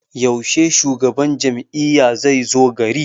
Yaushe shugaban jam'iyya zai zo gari?